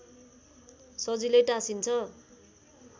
सजिलै टाँसिन्छ